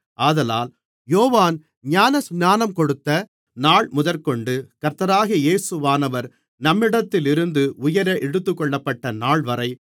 ஆதலால் யோவான் ஞானஸ்நானம் கொடுத்த நாள்முதற்கொண்டு கர்த்தராகிய இயேசுவானவர் நம்மிடத்திலிருந்து உயர எடுத்துக்கொள்ளப்பட்ட நாள்வரை